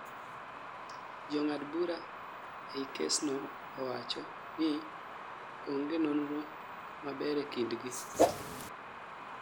jo ng'ad bura ei kes no owacho ni, onge nonro maber ee kind gi